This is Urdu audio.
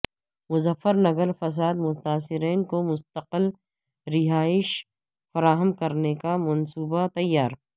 مظفر نگر فساد متاثرین کو مستقل رہائش فراہم کرنے کا منصوبہ تیار